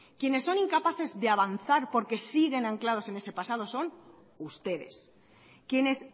quienes son incapaces de avanzar porque siguen anclados en el pasado son ustedes quienes